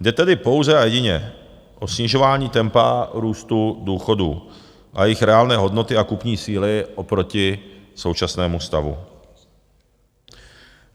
Jde tedy pouze a jedině o snižování tempa růstu důchodů a jejich reálné hodnoty a kupní síly oproti současnému stavu.